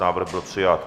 Návrh byl přijat.